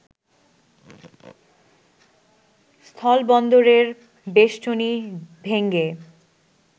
স্থলবন্দরের বেষ্টনি ভেঙ্গে